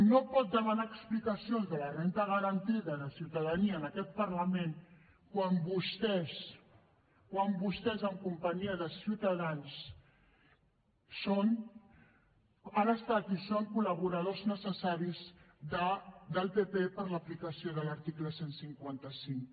no pot demanar explicacions de la renda garantida de ciutadania en aquest parlament quan vostès en companyia de ciutadans han estat i són col·laboradors necessaris del pp per a l’aplicació de l’article cent i cinquanta cinc